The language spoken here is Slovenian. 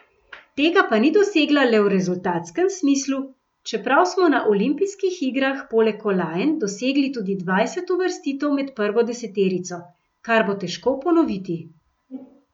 Tega pa ni dosegla le v rezultatskem smislu, čeprav smo na olimpijskih igrah poleg kolajn dosegli tudi dvajset uvrstitev med prvo deseterico, kar bo težko ponoviti.